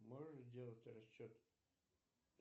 можешь сделать расчет